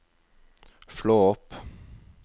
slå opp